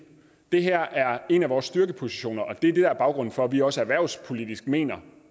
det her er en af vores styrkepositioner og det er det der er baggrunden for at vi også erhvervspolitisk mener